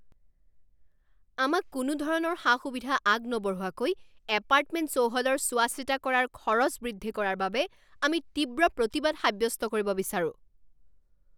আমাক কোনোধৰণৰ সা সুবিধা আগনবঢ়োৱাকৈ এপাৰ্টমেণ্ট চৌহদৰ চোৱাচিতা কৰাৰ খৰচ বৃদ্ধি কৰাৰ বাবে আমি তীব্ৰ প্ৰতিবাদ সাব্যস্ত কৰিব বিচাৰোঁ